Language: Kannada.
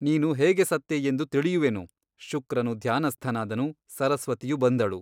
ನೀನು ಹೇಗೆ ಸತ್ತೆ ಎಂದು ತಿಳಿಯುವೆನು ಶುಕ್ರನು ಧ್ಯಾನಸ್ಥನಾದನು ಸರಸ್ವತಿಯು ಬಂದಳು.